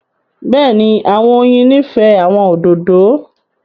Bẹ́ẹ̀ni, àwọn oyin nifẹ àwọn ódódò.